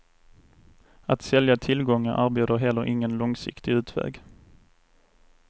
Att sälja tillgångar erbjuder heller ingen långsiktig utväg.